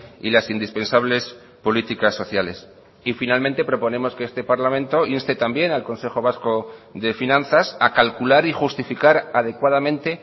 y las indispensables políticas sociales y finalmente proponemos que este parlamento inste también al consejo vasco de finanzas a calcular y justificar adecuadamente